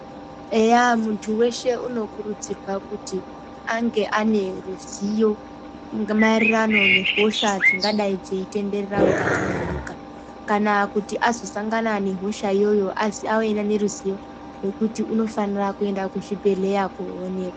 Eya muntu weshe unokurudzirwa kuti ange ane ruziyo maererano nehosha dzingadai dzeitenderera mukati mwenyika kana kuti azosangana nehosha iyoyo azoziya kuti unofanira kuenda kuzvibhedhleya koonekwa.